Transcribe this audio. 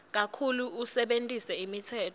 kakhulu usebentise imitsetfo